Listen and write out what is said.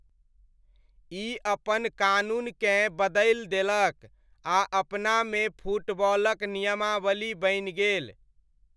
ई अपन कानूनकेँ बदलि देलक आ अपनामे फुटबॉलक नियमावली बनि गेल।